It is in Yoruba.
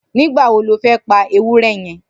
Nigba wó ló fẹ̀ pà éwùrè yèn?